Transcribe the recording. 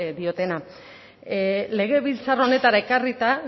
diotena legebiltzar honetara ekarrita